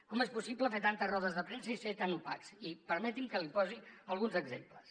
com és possible fer tantes rodes de premsa i ser tan opacs i permeti’m que li’n posi alguns exemples